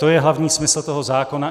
To je hlavní smysl toho zákona.